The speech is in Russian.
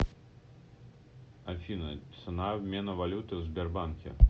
афина цена обмена валюты в сбербанке